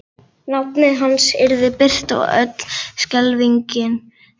Nafnið hans yrði birt og öll skelfingin tíunduð rækilega.